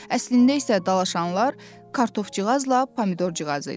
Əslində isə dalaşanlar Kartofcığazla Pomidorcığaz idi.